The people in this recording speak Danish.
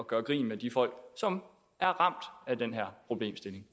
gøre grin med de folk som er ramt af den her problemstilling